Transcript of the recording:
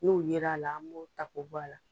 N'o yera a la an b'o ta k'o bɔ a la.